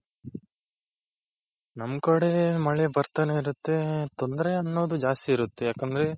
ನಮ್ ಕಡೆ ಮಳೆ ಬರ್ತಾನೆ ಇರುತ್ತೆ ತೊಂದ್ರೆ ಅನ್ನೋದು ಜಾಸ್ತಿ ಇರುತ್ತೆ ಯಾಕಂದ್ರೆ,